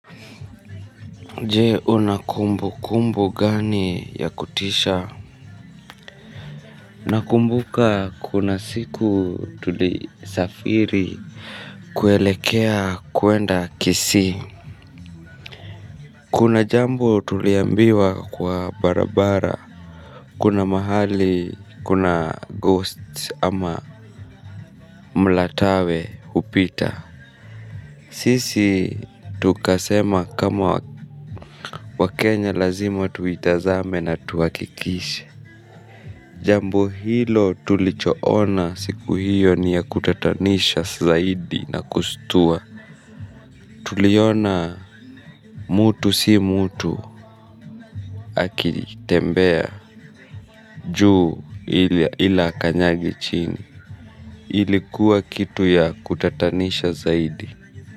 Jee unakumbu kumbu gani ya kutisha. Nakumbuka kuna siku tulisafiri kuelekea kuenda kisi. Kuna jambo tuliambiwa kwa barabara. Kuna mahali kuna ghost ama mlatawe upita. Sisi tukasema kama wakenya lazima tuitazame na tuakikishe. Jambo hilo tulichoona siku hiyo ni ya kutatanisha zaidi na kustua. Tuliona mutu si mutu akitembea juu ila akanyagi chini. Ilikuwa kitu ya kutatanisha zaidi.